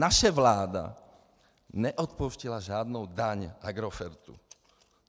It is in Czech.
Naše vláda neodpouštěla žádnou daň Agrofertu.